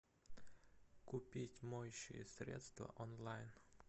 купить моющее средство онлайн